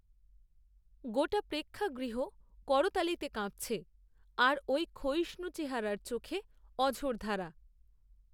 গোটা পেক্ষাগৃহ করতালিতে কাঁপছে, আর ওই ক্ষয়িষ্ণু চেহারার চোখে, অঝোরধারা